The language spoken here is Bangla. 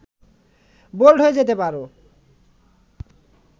বোল্ড হয়ে যেতে পারো